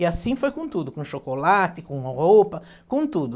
E assim foi com tudo, com chocolate, com roupa, com tudo.